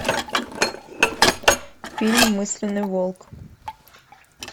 фильм мысленный волк